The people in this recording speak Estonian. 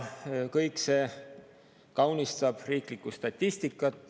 Kõik see kaunistab riiklikku statistikat.